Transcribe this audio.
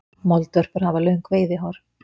moldvörpur hafa löng veiðihár